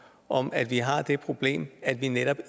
om at vi har det problem at vi netop